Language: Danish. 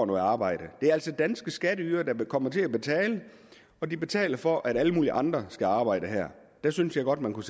arbejde det er altså danske skatteydere der kommer til at betale og de betaler for at alle mulige andre skal arbejde her jeg synes godt man kunne